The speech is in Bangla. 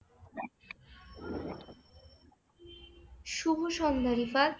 শুভ সন্ধ্যা রিফাত।